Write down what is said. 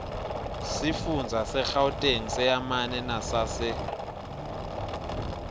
sifundza segauteng seyamane nesase